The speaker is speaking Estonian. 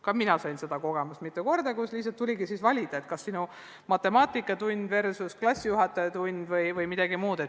Ka mina sain mitmel korral selle kogemuse, kui lihtsalt tuligi valida, kas ühe lapse matemaatikatund või teise lapse klassijuhatajatund või midagi muud.